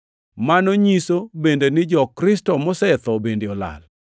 Mano nyiso bende ni jo-Kristo mosetho bende olal.